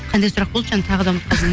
қандай сұрақ болды жаңа тағы да